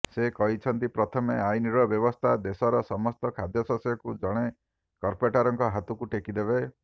ସେ କହିଛନ୍ତି ପ୍ରଥମ ଆଇନର ବ୍ୟବସ୍ଥା ଦେଶର ସମସ୍ତ ଖାଦ୍ୟଶସ୍ୟକୁ ଜଣେ କର୍ପୋରେଟଙ୍କ ହାତକୁ ଟେକିଦେବ